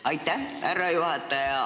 Aitäh, härra juhataja!